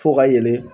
Fo ka yɛlɛ